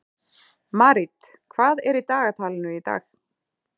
Marít, hvað er í dagatalinu í dag?